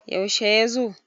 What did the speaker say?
yaushe ya zo?